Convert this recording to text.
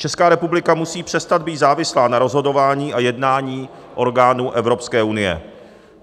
Česká republika musí přestat být závislá na rozhodování a jednání orgánů Evropské unie.